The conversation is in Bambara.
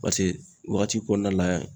Paseke wagati kɔnɔna la